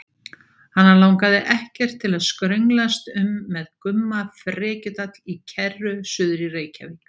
Hana langaði ekkert til að skrönglast um með Gumma frekjudall í kerru suður í Reykjavík.